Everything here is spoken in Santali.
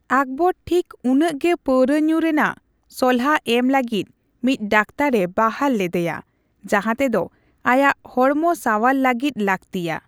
ᱟᱠᱵᱚᱨ ᱴᱷᱤᱠ ᱩᱱᱟᱹᱜ ᱜᱮ ᱯᱟᱹᱣᱨᱟᱹ ᱧᱩ ᱨᱮᱱᱟᱜ ᱥᱚᱞᱦᱟ ᱮᱢ ᱞᱟᱜᱤᱫ ᱢᱤᱫ ᱰᱟᱠᱛᱚᱨ ᱮ ᱵᱟᱦᱟᱞ ᱞᱮᱫᱭᱟ ᱡᱟᱦᱟ ᱛᱮᱫᱚ ᱟᱭᱟᱜ ᱦᱚᱲᱢᱚ ᱥᱟᱣᱟᱨ ᱞᱟᱜᱤᱫ ᱞᱟᱠᱛᱤᱭᱟ ᱾